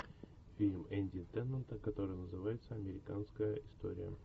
фильм энди теннанта который называется американская история